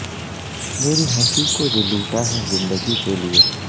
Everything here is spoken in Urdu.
میری ہنسی کو جو لوٹا ہے زندگی کے لیے